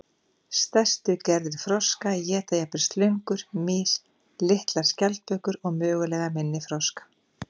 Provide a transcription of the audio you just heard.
Stærstu gerðir froska éta jafnvel slöngur, mýs, litlar skjaldbökur og mögulega minni froska.